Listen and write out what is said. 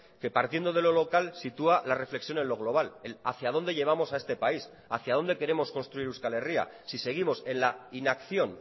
que partiendo de lo local sitúa la reflexión en lo global el hacia dónde llevamos a este país hacia dónde queremos construir euskal herria si seguimos en la inacción